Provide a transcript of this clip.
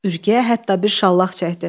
Ürgəyə hətta bir şallaq çəkdi.